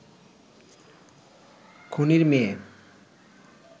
খুনির মেয়ে